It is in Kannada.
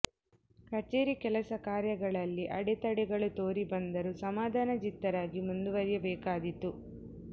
ಕಚೇರಿ ಕೆಲಸಕಾರ್ಯಗಳಲ್ಲಿ ಆಡೆತಡೆ ಗಳು ತೋರಿ ಬಂದರೂ ಸಮಾಧಾನ ಜಿತ್ತರಾಗಿ ಮುಂದುವರಿಯಬೇಕಾದೀತು